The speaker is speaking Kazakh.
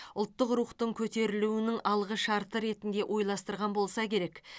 ұлттық рухтың көтерілуінің алғышарты ретінде ойластырған болса керек